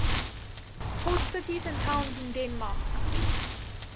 port cities and towns in denmark